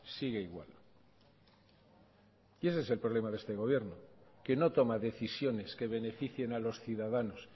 sigue igual y ese es el problema de este gobierno que no toma decisiones que beneficien a los ciudadanos